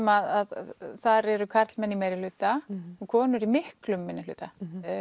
að þar eru karlmenn í meirihluta og konur í miklum minnihluta